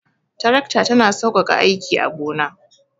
Tarakta ta na saukaka aiki a gona